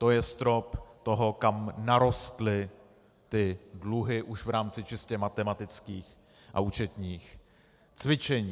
To je strop toho, kam narostly ty dluhy už v rámci čistě matematických a účetních cvičení.